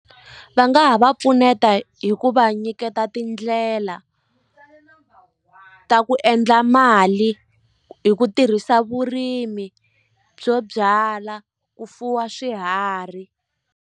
Va nga ha va pfuneta hi ku va nyiketa tindlela ta ku endla mali hi ku tirhisa vurimi byo byala ku fuwa swiharhi.